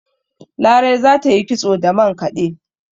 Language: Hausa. Larai za ta yi kitso da mankade